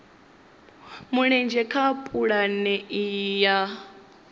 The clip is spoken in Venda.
mulenzhe kha pulane iyi ya